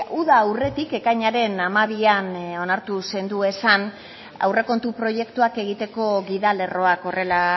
uda aurretik ekainaren hamabian onartu zenduezan aurrekontu proiektuak egiteko gidalerroak horrela